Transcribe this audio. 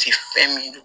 Te fɛn min don